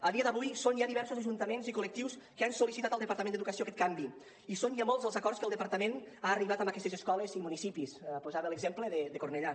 a dia d’avui són ja diversos ajuntaments i col·lectius que han sol·licitat al departament d’educació aquest canvi i són ja molts els acords a què el departament ha arribat amb aquestes escoles i municipis posava l’exemple de cornellà